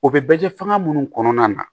O bɛ bɛ kɛ fanga minnu kɔnɔna na